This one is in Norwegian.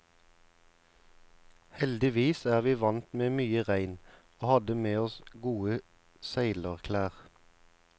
Heldigvis er vi vant med mye regn, og hadde med oss gode seilerklær.